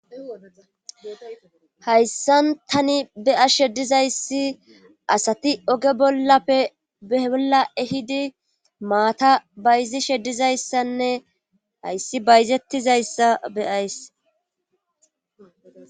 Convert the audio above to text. hayssan tani beya sheddizayssi asati oge bollape ebolla ehidi maata bayzi sheddizayssanne hayssi bayzettizayssa beyays